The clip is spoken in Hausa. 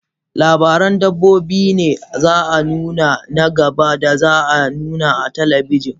Labaran dabbobi ne za a nuna na gaba da za a nuna a talabijin.